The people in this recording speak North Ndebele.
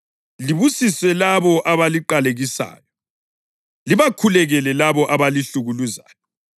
libusise labo abaliqalekisayo, libakhulekele labo abalihlukuluzayo.